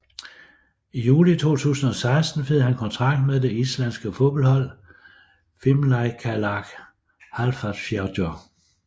I juli 2016 fik han kontrakt med det islandske fodboldhold Fimleikafélag Hafnarfjarðar